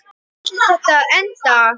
Hvar ætlaði þetta að enda?